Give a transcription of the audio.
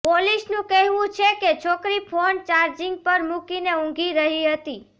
પોલીસનું કહેવું છે કે છોકરી ફોન ચાર્જિંગ પર મૂકીને ઊંઘી રહી હતી